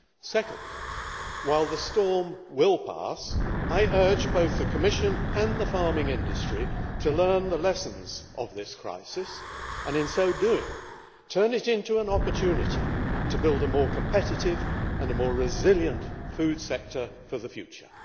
Second, while the storm will pass, I urge both the Commission and the farming industry to learn the lessons of this crisis, and in so doing to turn it into an opportunity to build a more competitive and more resilient food sector for the future.